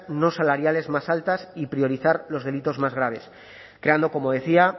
no salariales más altas y priorizar los delitos más graves creando como decía